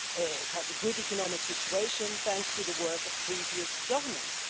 It has a good economic situation thanks to the work of previous governments.